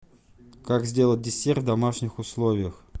как сделать десерт в домашних условиях